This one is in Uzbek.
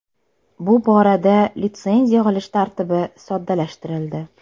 Bu borada litsenziya olish tartibi soddalashtirildi.